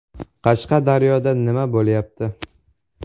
Qashqadaryoda nima bo‘lyapti?.